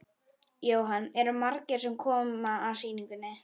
Jóhann: Eru margir sem koma að sýningunni?